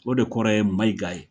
O de kɔrɔ ye Mayiga ye.